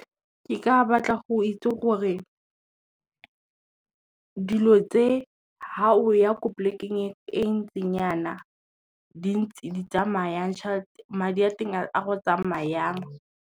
Ke ka batla go itse gore, dilo tse ga o ya ko polekeng e ntseng jana di ntse di tsamaya jang, madi a teng a go tsamaya jang.